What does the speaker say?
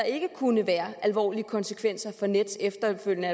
ikke kunne være alvorlige konsekvenser for nets efterfølgende